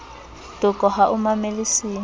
toko ha o mamele se